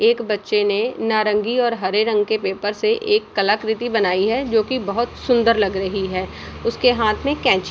एक बच्चे ने नारंगी और हरे रंग के पेपर से एक कलाकृति बनाई है जो की बहोत सुंदर लग रही है उसके हाथ मे केंची --